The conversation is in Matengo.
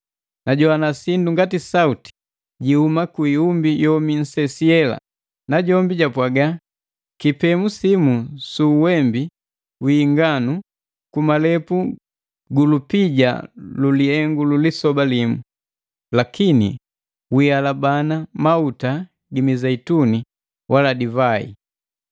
Najogwana sindu ngati sauti jihuma kuiumbi yomi nsesi yela. Najombi japwaga, “Kipemu simu su uwembi wi inganu ku malepu gu lupija lu lihengu ulisoba limu. Lakini wialabana mauta gi mizeituni wala divai!”